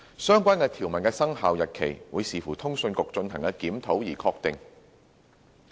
相關條文的生效日期，會視乎通訊局進行的檢討而確定。